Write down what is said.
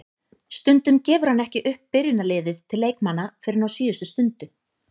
Stundum gefur hann ekki upp byrjunarliðið til leikmanna fyrr en á síðustu stundu.